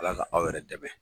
Ala ka aw yɛrɛ dɛmɛ.